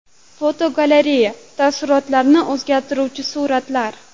Fotogalereya: Taassurotlarni o‘zgartiruvchi suratlar.